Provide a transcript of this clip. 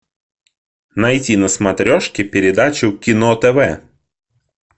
найти на смотрешке передачу кино тв